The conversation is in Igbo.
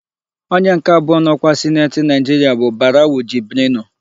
Onye nke abụọ n'ọkwa Sineti Naịjiria bụ Barawu Jibrinu.